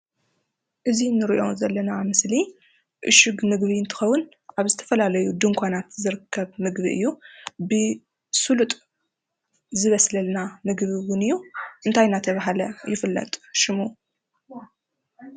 እዚ እንሪኦ ዘለና ምስሊ ዕሽግ ምግቢ እንትኸዉን ኣብ ዝተፈላለዩ ድንኳናት ዝርከብ ምግቢ እዩ። ብስሉጥ ዝበስለልና ምግቢ እዉን እዩ። እንታይ እናተብሃለ ይፍለጥ ሽሙ?